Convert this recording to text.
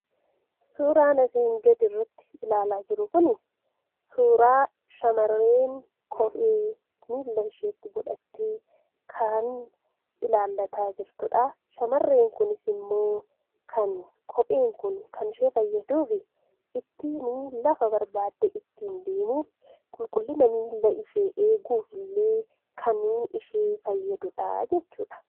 Suuraan asi gad irratti iaallaa jiruu kuni, suuraa shamareen Kophee milaa isheetti godhatee, kan ilaalaata jirtudha. Shamareen kunis immoo kan Kopheen kun kan ishee fayyaadufii ittinni lafaa barbadee ittin deemuuf, qulqullinnaa milaa ishee eeguuf illee kan ishee fayyadudha jechuudha.